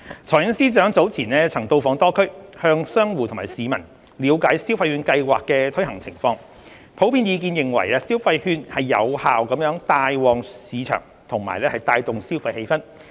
財政司司長早前曾到訪多區，向商戶及市民了解消費券計劃的推行情況，普遍意見認為消費券有效帶旺市場及帶動消費氣氛。